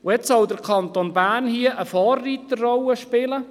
Und jetzt soll der Kanton Bern hier eine Vorreiterrolle einnehmen!